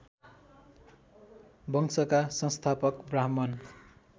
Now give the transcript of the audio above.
वंशका संस्थापक ब्राह्मण